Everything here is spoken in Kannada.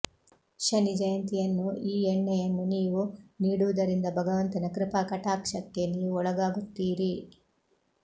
ಶನಿ ಜಯಂತಿಯನ್ನು ಈ ಎಣ್ಣೆಯನ್ನು ನೀವು ನೀಡುವುದರಿಂದ ಭಗವಂತನ ಕೃಪಾಕಟಾಕ್ಷಕ್ಕೆ ನೀವು ಒಳಗಾಗುತ್ತೀರಿ